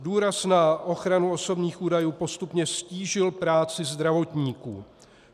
Důraz na ochranu osobních údajů postupně ztížil práci zdravotníků.